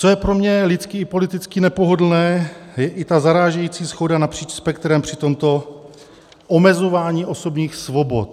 Co je pro mě lidsky i politicky nepohodlné, je i ta zarážející shoda napříč spektrem při tomto omezování osobních svobod.